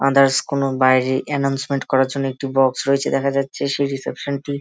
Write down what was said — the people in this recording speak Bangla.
আদার্স কোনো বাইরে এনাউন্সমেন্ট করার জন্য একটি বাক্স রয়েছে দেখা যাচ্ছেসেই রিসেপশনটি সেই রিসেপশনটি।